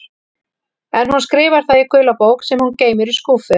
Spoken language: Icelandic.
En hún skrifar það í gula bók sem hún geymir í skúffu.